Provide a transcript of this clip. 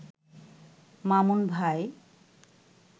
মামুন ভাই